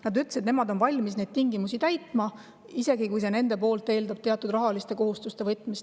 Nad ütlesid, et nemad on valmis neid tingimusi täitma, isegi kui see eeldab, et nad peavad teatud rahalisi kohustusi võtma.